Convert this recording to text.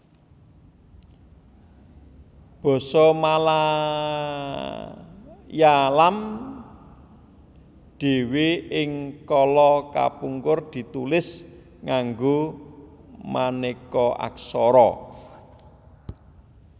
Basa Malayalam dhéwé ing kala kapungkur ditulis nganggo manéka aksara